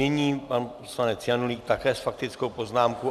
Nyní pan poslanec Janulík také s faktickou poznámkou.